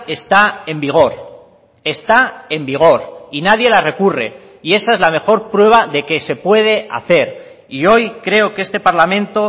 está en vigor está en vigor y nadie la recurre y esa es la mejor prueba de que se puede hacer y hoy creo que este parlamento